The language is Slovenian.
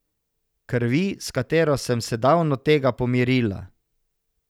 Krvi, s katero sem se davno tega pomirila.